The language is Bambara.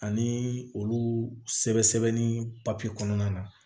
Ani olu sɛbɛn sɛbɛnni kɔnɔna na